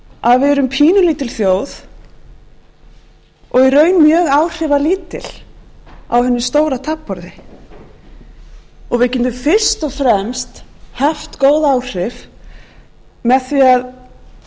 að við erum pínulítil þjóð og í raun mjög áhrifalítil á hinu stóra taflborði og við getum fyrst og fremst haft góð áhrif með því að